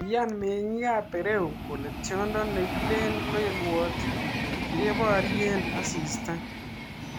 Kiyan mengik ap Peru kole tiondo nekile lelwot nekiparie asista